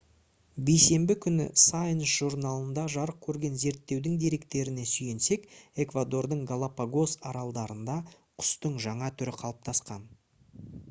бейсенбі күні science журналында жарық көрген зерттеудің деректеріне сүйенсек эквадордың галапагос аралдарында құстың жаңа түрі қалыптасқан